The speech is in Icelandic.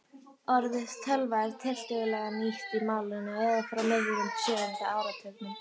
Orðið tölva er tiltölulega nýtt í málinu eða frá miðjum sjöunda áratugnum.